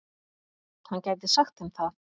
Hann gæti sagt þeim það.